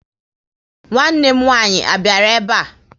Nwanne m nwaanyị a biara ebe a?